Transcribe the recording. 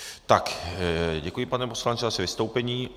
Tak, děkuji, pane poslanče, za vaše vystoupení.